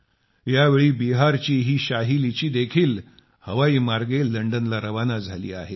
यावेळी बिहारची ही शाही लीची देखील हवाईमार्गे लंडनला रवाना झाली आहे